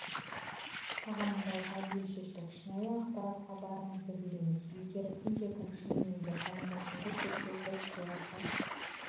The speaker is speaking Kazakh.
тағайындауға бел шештік шынайы ақпаратқа барымызды береміз егер кімде-кім шынымен де қарындасымды көрсе біз сыйақы